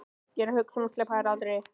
Ég er að hugsa um að sleppa þér aldrei.